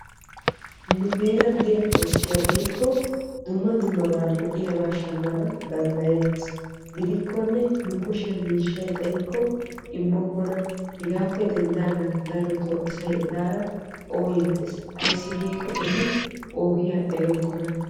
Nu heeran de'iya koskkiya dumma duma lo'iyabba shammanna danddayetees. Gidikkonne kushiyan miishshay xayikko immokkonna hegaa gishawu asay ettara ooyetees.